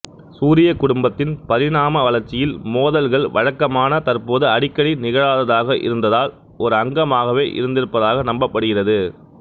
சூரியக் குடும்பத்தின் பரிணாம வளர்ச்சியில் மோதல்கள் வழக்கமான தற்போது அடிக்கடி நிகழாததாக இருந்தால் ஒரு அங்கமாகவே இருந்திருப்பதாக நம்பப்படுகிறது